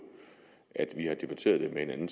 at vi tidligere har debatteret med hinanden